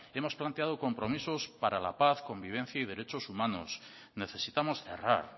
hemos planteado compromisos para la paz convivencia y derechos humanos necesitamos cerrar